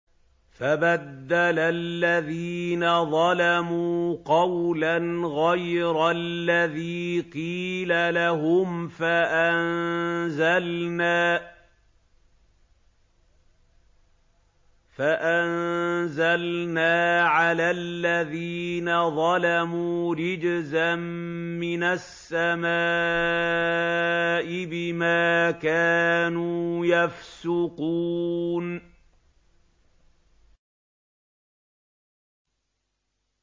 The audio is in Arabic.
فَبَدَّلَ الَّذِينَ ظَلَمُوا قَوْلًا غَيْرَ الَّذِي قِيلَ لَهُمْ فَأَنزَلْنَا عَلَى الَّذِينَ ظَلَمُوا رِجْزًا مِّنَ السَّمَاءِ بِمَا كَانُوا يَفْسُقُونَ